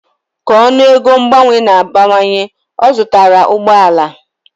Ka ọnụego mgbanwe na-abawanye, ọ zụtara ụgbọ ala.